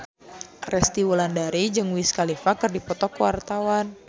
Resty Wulandari jeung Wiz Khalifa keur dipoto ku wartawan